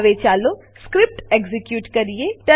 હવે ચાલો script execute કરીએ